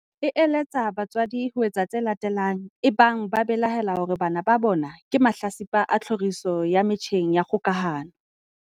e eletsa batswadi ho etsa tse latelang ebang ba belaela hore bana ba bona ke mahlatsipa a tlhoriso ya metjheng ya kgokahano.